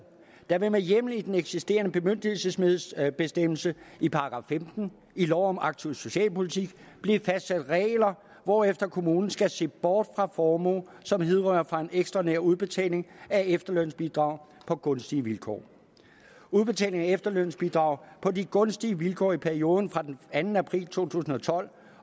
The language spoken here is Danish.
der vil med hjemmel i den eksisterende bemyndigelsesbestemmelse i § femten i lov om en aktiv socialpolitik blive fastsat regler hvorefter kommunen skal se bort fra formue som hidrører fra en ekstraordinær udbetaling af efterlønsbidrag på gunstige vilkår udbetaling af efterlønsbidrag på de gunstige vilkår i perioden fra den anden april to tusind og tolv